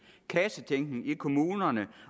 kassetænkning i kommunerne